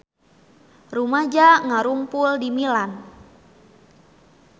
Rumaja ngarumpul di Milan